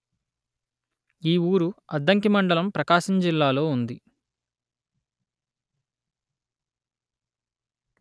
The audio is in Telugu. ఈ ఊరు అద్దంకి మండలం ప్రకాశం జిల్లాలో ఉంది